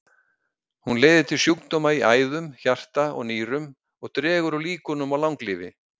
Hún leiðir til sjúkdóma í æðum, hjarta og nýrum og dregur úr líkunum á langlífi.